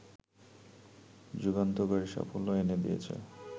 যুগান্তকারী সাফল্য এনে দিয়েছে